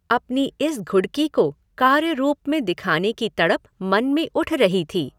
अपनी इस घुडकी को कार्यरूप में दिखाने की तड़प मन में उठ रही थी।